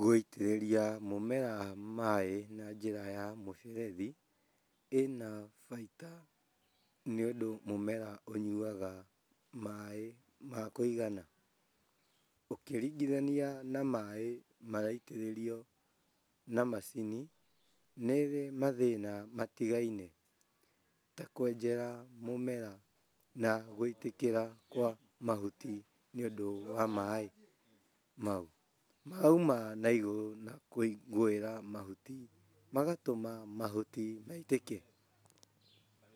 Gũitĩrĩria mũmera maaĩ na njĩra ya mũberethi ĩna bainda nĩũndũ mũmera ũnyuaga maaĩ ma kũigana ũkĩringithania na maaĩ maraitĩrĩrio na macini nĩrĩ mathĩna matigainĩ ta kwenjera mũmera na gũitĩkĩra kwa mahuti nĩũndũ wa maaĩ mau marauma na igũrũ na kũgũĩra mahuti magatũma mahuti maitĩke